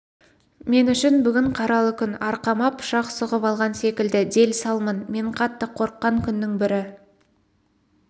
мен үшін бүгін қаралы күн арқама пышақ сұғып алған секілді дел-салмын мен қатты қорыққан күннің бірі